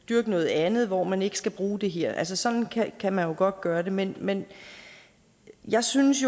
dyrke noget andet hvor man ikke skal bruge det her sådan kan man jo godt gøre det men men jeg synes